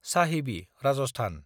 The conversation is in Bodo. साहिबि (राजस्थान)